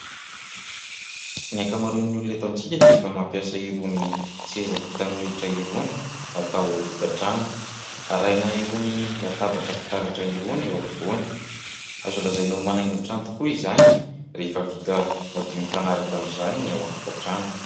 Ny ankamaroan'ny olona eto amintsika dia efa mampiasa irony seza vita amin'ny hoditra irony atao ao an-tokantrano ; arahina irony latabatra fitaratra irony eo afovoany. Azo lazaina ho manaingo ny trano tokoa izany rehefa vita madio mifanaraka amin'izany ny ao an-tokantrano.